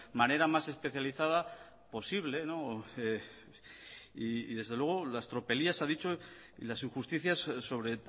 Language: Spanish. manera más especializada posible y desde luego las tropelías ha dicho y las injusticias sobre